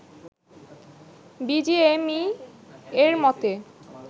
বিজিএমইএ’র মতে